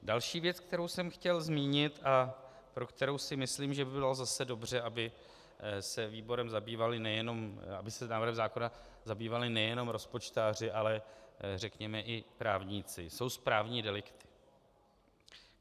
Další věc, kterou jsem chtěl zmínit a pro kterou si myslím, že by bylo zase dobře, aby se návrhem zákona zabývali nejenom rozpočtáři, ale řekněme i právníci, jsou správní delikty.